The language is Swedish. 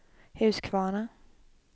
Huskvarna